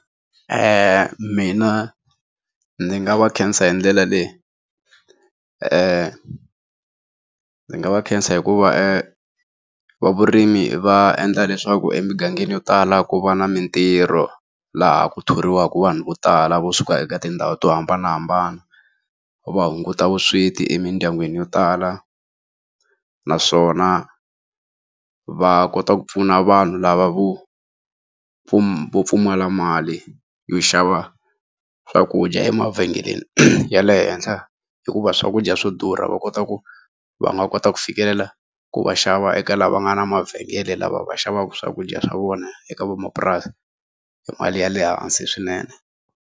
mina ni nga va khensa hi ndlela leyi ni nga va khensa hikuva vavurimi va endla leswaku emugangeni yo tala ku va na mintirho laha ku thoriwaka vanhu vo tala vo suka eka tindhawu to hambanahambana va hunguta vusweti emindyangwini yo tala naswona va kota ku pfuna vanhu lava vo vo pfumala mali yo xava swakudya emavhengeleni ya le henhla hikuva swakudya swo durha va kota ku va nga kota ku fikelela ku va xava eka lava nga na mavhengele lava va xavaka swakudya swa vona eka van'wamapurasi hi mali ya le hansi swinene.